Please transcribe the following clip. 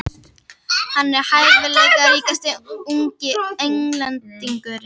Hann er hæfileikaríkasti ungi Englendingurinn.